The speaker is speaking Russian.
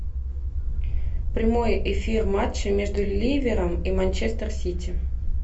прямой эфир матча между ливером и манчестер сити